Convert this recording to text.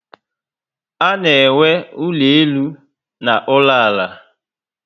Ana enwe ụlọ elu na ụlọ ala